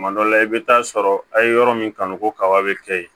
Tuma dɔ la i bɛ taa sɔrɔ a' ye yɔrɔ min kanu ko kaba bɛ kɛ yen